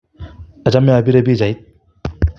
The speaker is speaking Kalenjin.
achome apire pichait